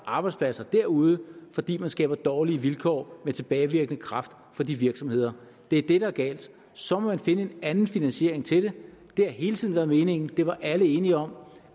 arbejdspladser derude fordi man skaber dårlige vilkår med tilbagevirkende kraft for de virksomheder det er det der er galt så må man finde en anden finansiering til det det har hele tiden været meningen det var alle enige om